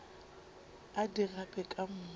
a di gape ka moka